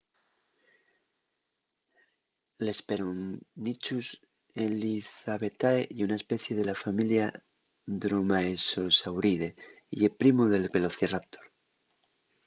l’hesperonychus elizabethae ye una especie de la familia dromaeosauride y ye primu del velociraptor